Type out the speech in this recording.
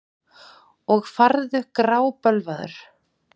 Og farðu grábölvaður.